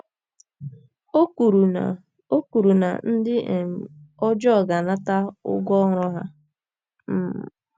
O kwuru na O kwuru na ndị um ọjọọ ga - anata ụgwọ ọrụ ha um.